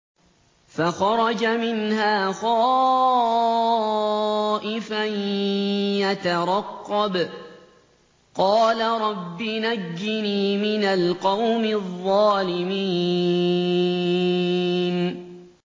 فَخَرَجَ مِنْهَا خَائِفًا يَتَرَقَّبُ ۖ قَالَ رَبِّ نَجِّنِي مِنَ الْقَوْمِ الظَّالِمِينَ